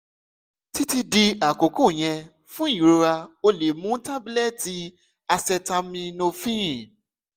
titi di akoko yẹn fun irora o le mu tabulẹti acetaminophen